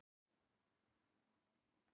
Vísa, hækkaðu í græjunum.